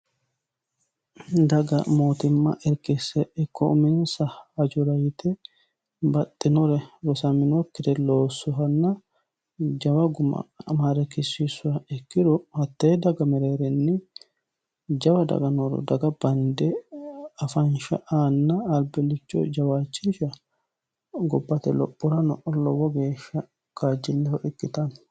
daga mootimma irkisse ikko uminsa hajora yite baxxinore rosaminokire loosuhanna jawa guma marekisissu ikkiro hattee daga mereerinni jawa daganoro daga bande afansha aanna albilicho jawaachisha gobbate lophorano lowo geeshsha kaajjilleho ikkitanno